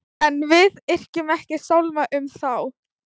En við yrkjum ekki sálma um þá.